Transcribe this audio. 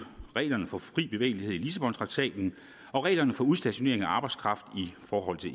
reglerne for fri bevægelighed i lissabontraktaten og reglerne for udstationering af arbejdskraft